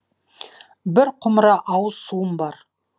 бір құмыра ауыз суым бар